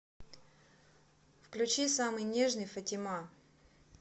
включи самый нежный фатима